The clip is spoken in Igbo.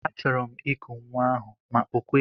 Achọrọ m iku nwa ahụ ma o kweghi.